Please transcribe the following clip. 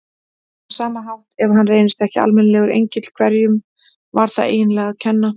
Á sama hátt, ef hann reyndist ekki almennilegur engill, hverjum var það eiginlega að kenna?